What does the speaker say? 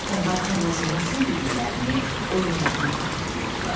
Onlar Tomla Conun son dediklərini, oyunlarını xatırlayırdılar.